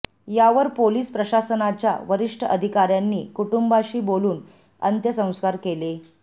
यावर पोलीस प्रशासनाच्या वरिष्ठ अधिकाऱ्यांनी कुटूंबाशी बोलून अंत्यसंस्कार केले